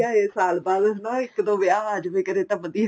ਸਾਲ ਬਾਅਦ ਹਨਾ ਇੱਕ ਦੋ ਵਿਆਹ ਆ ਜ਼ੇ ਵੇ ਕਰੇ ਤਾਂ ਵਧੀਆ